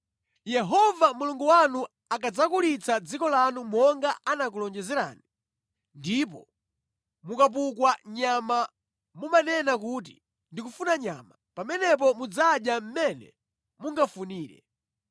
Yehova Mulungu wanu akadzakulitsa dziko lanu monga anakulonjezerani, ndipo mukapukwa nyama mumanena kuti, “Ndikufuna nyama,” pamenepo mudzadya mmene mungafunire.